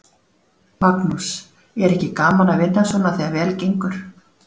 Magnús: Er ekki gaman að vinna svona þegar vel gengur?